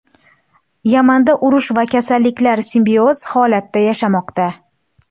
Yamanda urush va kasalliklar simbioz holatda yashamoqda.